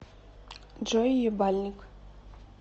джой ебальник